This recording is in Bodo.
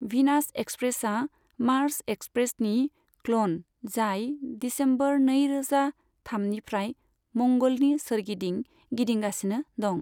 भिनास एक्सप्रेसआ मार्स एक्सप्रेसनि क्ल'न जाय दिसेम्बर नैरोजा थामनिफ्राय मंगलनि सोरगिदिं गिदिंगासिनो दं।